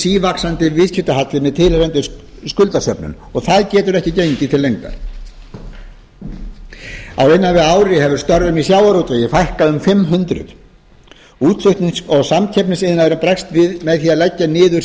sívaxandi viðskiptahalli með tilheyrandi skuldasöfnun og það getur ekki gengið til lengdar á innan við ári hefur störfum í sjávarútvegi fækkað um fimm hundruð útflutnings og samkeppnisiðnaður bregst við með því að leggja niður